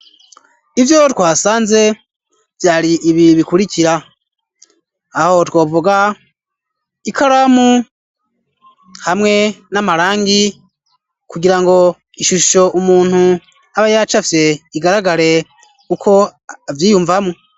Ivyo twasanze vyari ibi bikurikira ,aho twovuga ikaramu, hamwe n'amarangi ,kugira ngo ishusho umuntu aba yacafye, igaragare uko a vyiyumvamwo.